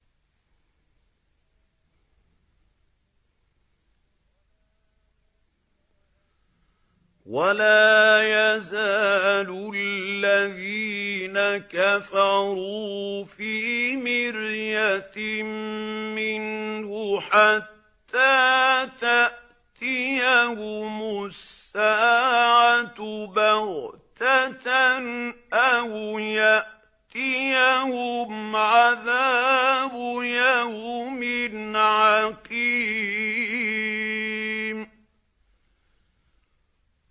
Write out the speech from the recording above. وَلَا يَزَالُ الَّذِينَ كَفَرُوا فِي مِرْيَةٍ مِّنْهُ حَتَّىٰ تَأْتِيَهُمُ السَّاعَةُ بَغْتَةً أَوْ يَأْتِيَهُمْ عَذَابُ يَوْمٍ عَقِيمٍ